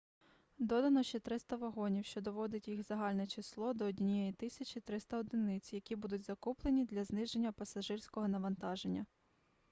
додано ще 300 вагонів що доводить їх загальне число до 1300 одиниць які будуть закуплені для зниження пасажирського навантаження